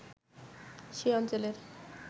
সে অঞ্চলের